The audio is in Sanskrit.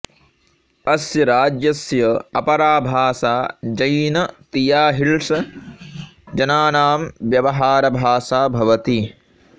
अस्य राज्यस्य अपरा भाषा जैन तियाहिल्स् जनानां व्यवहारभाषा भवति